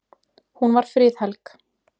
Hún var friðhelg.